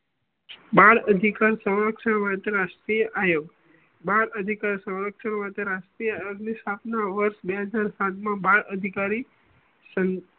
બાળ અધિકાર સમાજ સેવા અંતરરાષ્ટ્રીય આયોગ બાળ અધિકાર સમાજ સેવા રાષ્ટ્રીય અરબ ની સ્થાપના વર્ષ બે હજાર સાત મા બાળ અધિકારી